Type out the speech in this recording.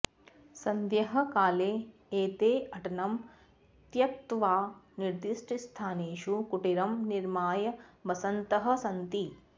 सद्यःकाले एते अटनं त्यक्त्वा निर्दिष्टस्थानेषु कुटीरं निर्माय वसन्तः सन्ति